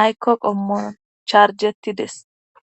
aykko qommon charjettides